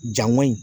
Janko in